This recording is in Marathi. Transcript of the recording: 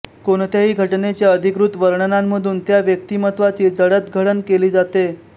कोणत्याही घटनेच्या अधिकृत वर्णनांमधून यात व्यक्तिमत्वाची जडतघडण केली जाते